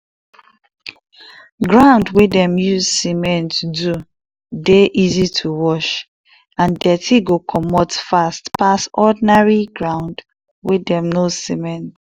ground wey dem use cement do dey easy to wash and dirty go commot fast pass ordinary ground wey dem no cement.